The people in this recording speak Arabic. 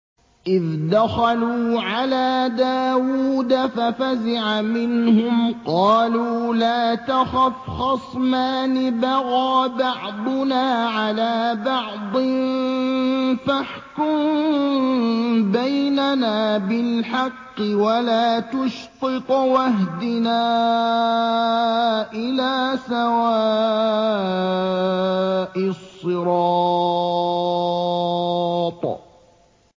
إِذْ دَخَلُوا عَلَىٰ دَاوُودَ فَفَزِعَ مِنْهُمْ ۖ قَالُوا لَا تَخَفْ ۖ خَصْمَانِ بَغَىٰ بَعْضُنَا عَلَىٰ بَعْضٍ فَاحْكُم بَيْنَنَا بِالْحَقِّ وَلَا تُشْطِطْ وَاهْدِنَا إِلَىٰ سَوَاءِ الصِّرَاطِ